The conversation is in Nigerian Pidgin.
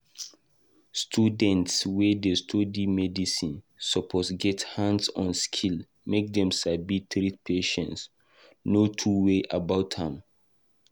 Students wey dey study medicine suppose get hands-on skills make dem sabi treat patients. no two ways about am